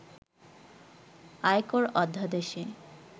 আয়কর অধ্যাদেশে